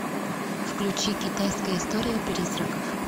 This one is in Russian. включи китайская история призраков